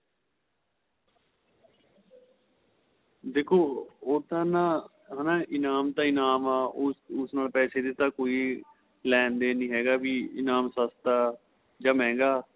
ਦੇਖੋ ਉਹ ਤਾਂ ਨਾ ਹੈਨਾ ਇਨਾਮ ਤਾਂ ਇਨਾਂਮ ਏ ਉਸ ਨਾਲ ਪੈਸੇ ਦੇ ਤਾਂ ਕੋਈ ਲੇਣ ਦੇਣ ਨਹੀਂ ਹੈਗਾ ਵੀ ਇਨਾਂਮ ਸਸਤਾ ਜਾਂ ਮਹਿੰਗਾ